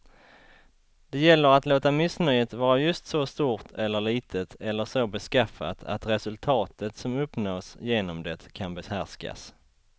Det gäller att låta missnöjet vara just så stort eller litet eller så beskaffat att resultatet som uppnås genom det kan behärskas.